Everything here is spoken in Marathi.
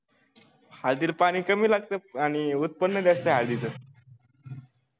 हळदीला पानी कमी लागता आणि उत्पन्न जास्त आहे हळदी च